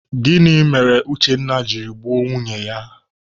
Gịnị mere Uchenna jiri gbuo nwunye ya?